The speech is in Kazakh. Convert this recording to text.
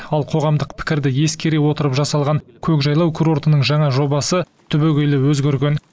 ал қоғамдық пікірді ескере отырып жасалған көкжайлау курортының жаңа жобасы түбегейлі өзгерген